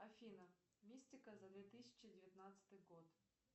афина мистика за две тысячи девятнадцатый год